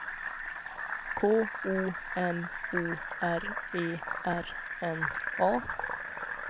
K O M O R E R N A